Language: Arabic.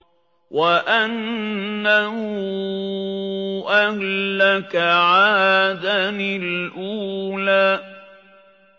وَأَنَّهُ أَهْلَكَ عَادًا الْأُولَىٰ